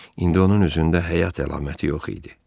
İndi onun üzündə həyat əlaməti yox idi.